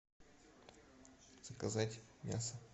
заказать мясо